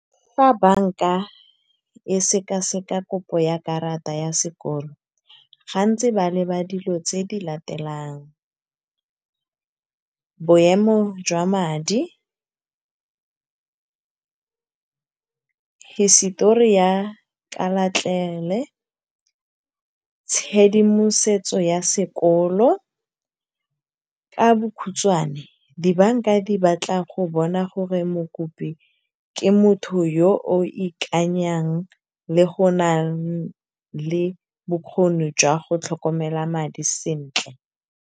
Fa banka e seka-seka kopo ya karata ya sekoloto, gantsi ba leba dilo tse di latelang, boemo jwa madi, hisitori ya ka , tshedimosetso ya sekoloto. Ka bokhutswane, di-bank-a di batla go bona gore mokopi ke motho yo o ikanyang le yo o nang le bokgoni jwa go tlhokomela madi sentle.